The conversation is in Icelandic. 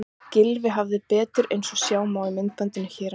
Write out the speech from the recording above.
Gylfi hafði betur eins og sjá má í myndbandinu hér að neðan.